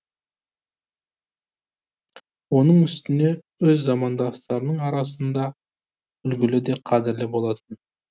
оның үстіне өз замандастарының арасыңда үлгілі де қадірлі болатын